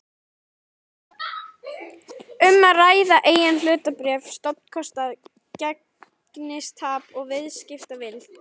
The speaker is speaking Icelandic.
um að ræða eigin hlutabréf, stofnkostnað, gengistap og viðskiptavild.